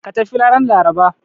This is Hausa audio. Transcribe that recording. Ka tafi ranar Laraba!